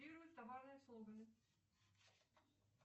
первые товарные слоганы